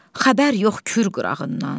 Xəbər yox Kür qırağından.